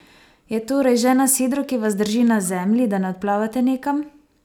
Je torej žena sidro, ki vas drži na zemlji, da ne odplavate nekam?